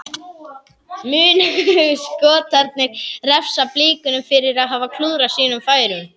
Munu Skotarnir refsa Blikunum fyrir að hafa klúðrað sínum færum?